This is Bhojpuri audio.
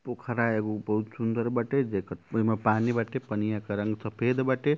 पोखरा एगो बहुत सुन्दर बाटे देखत एमें पानी बाटे पानिया क रंग सफ़ेद बाटे।